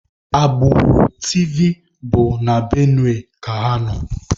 Agbụrụ Tivi bụ na Benue ka ha nọ